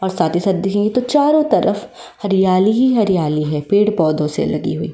और साथ ही साथ दिखेगें तो चारो तरफ हरियाली ही हरियाली है पेड़ पौधे से लगी हुई।